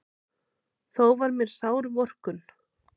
Þó var mér sár vorkunn.